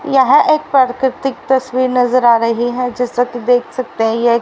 यह एक प्राकृतिक तस्वीर नजर आ रही है जैसा कि देख सकते हैं ये एक--